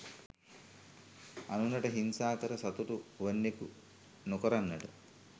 අනුනට හිංසා කර සතුටු වන්නකු නොකරන්නට